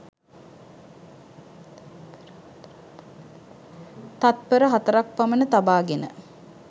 තත්පර හතරක් පමණ තබාගෙන